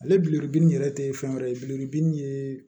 Ale billlibili yɛrɛ te fɛn wɛrɛ ye bilibini ye